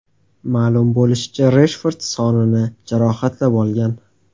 Ma’lum bo‘lishicha, Reshford sonini jarohatlab olgan.